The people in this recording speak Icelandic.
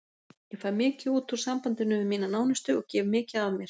Ég fæ mikið út úr sambandinu við mína nánustu og gef mikið af mér.